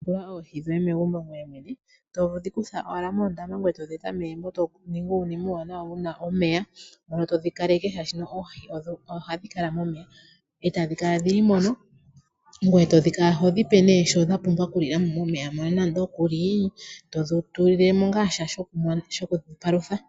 Wuna oohi dhoye megumbo ngoye mwene toningi uunima uuwanawa wuna omeya mono todhi kaleke oshoka oohi ohadhi kala momeya etadhi kala dhili mono ngye tokala todhipe shono dhapumbw oku lilamo momeya mono todhi tulilemo ngaa sha shoku dhipalutha.